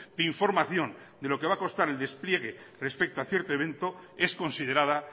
de información de lo que va a costar el despliegue respecto a cierto evento es considerada